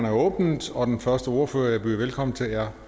åbnet og den første ordfører at byde velkommen til er